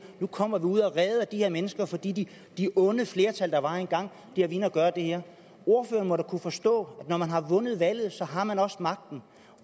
nu kommer ud og redder de her mennesker fordi det onde flertal der var engang har været inde at gøre det her ordføreren må da kunne forstå at når man har vundet valget har man også magten